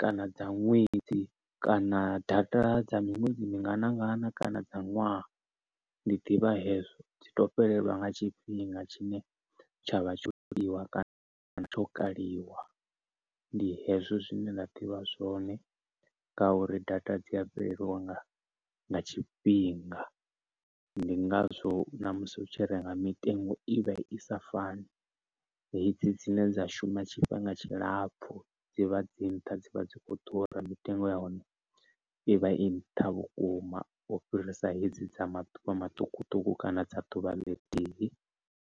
kana dza ṅwedzi kana data dza miṅwedzi mingana ngana kana dza ṅwaha ndi ḓivha hezwo dzi tou fhelelwa nga tshifhinga tshine tshavha tsho tiiwa kana kana tsho kaliwa. Ndi hezwo zwine nda ḓivha zwone nga uri data dzi a fhelelwa nga nga tshifhinga, ndi ngazwo na musi u tshi renga mitengo i vha i sa fani. Hedzi dzine dza shuma tshifhinga tshilapfhu dzivha dzi nṱha dzivha dzi kho ḓura mitengo ya hone ivha i nṱha vhukuma u fhirisa hedzi dza maḓuvha maṱukuṱuku kana dza ḓuvha ḽithihi.